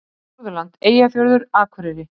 Norðurland: Eyjafjörður, Akureyri.